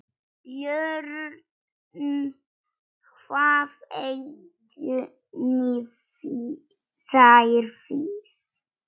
BJÖRN: Hvað eigið þér við?